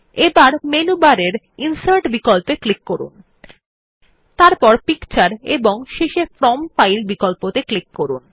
এবার menu bar এর insert বিকল্পে ক্লিক করুন তারপর পিকচার এবং শেষে ফ্রম ফাইল বিকল্পে ক্লিক করুন